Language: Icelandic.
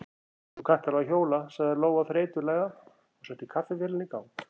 Þú kannt alveg að hjóla, sagði Lóa þreytulega og setti kaffivélina í gang.